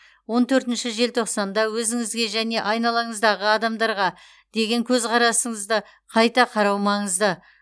он төртінші желтоқсанда өзіңізге және айналаңыздағы адамдарға деген көзқарасынызды қайта қарау маңызды